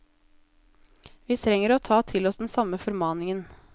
Vi trenger å ta til oss den samme formaningen.